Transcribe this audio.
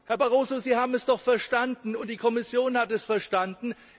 Herr Barroso, Sie haben es doch verstanden, und die Kommission hat es verstanden.